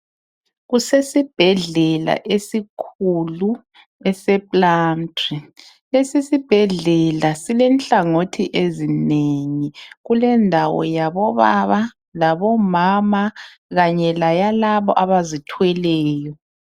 kusesibhedlela esikhulu esise plumtree lesi isibhedlela sile nhlangothi ezinengi kulendawo yabobaba leyabomama kanye leyalaba abazithweleyo